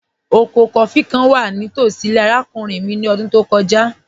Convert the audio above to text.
Ọkọ kófí̀ kàn wà ní tosí ilẹ̀ arákùnrin mi ní ọ̀dún tó kọja